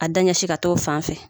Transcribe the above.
A da ɲɛsin ka t' o fan fɛ